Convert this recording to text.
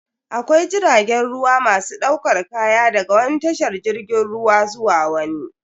Akwai jiragen ruwa masu daukar kaya daga wani tashar jirgin ruwa zuwa wani.